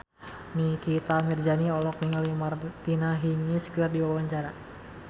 Nikita Mirzani olohok ningali Martina Hingis keur diwawancara